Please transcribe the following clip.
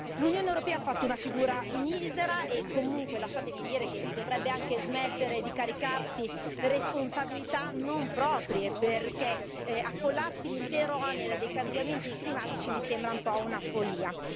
L'Unione europea ha fatto una figura misera, e comunque lasciatemi dire che dovrebbe anche smettere di caricarsi di responsabilità non proprie perché accollarsi l'intero onere dei cambiamenti climatici mi sembra un po' una follia.